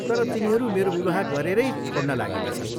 तर तिनीहरू मेरो विवाह गरेरै छोड्न लागेका छन्।